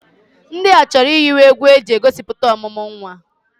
Ndị a chọrọ ihiwe egwu e ji egosipụta ọmụmụ nwa.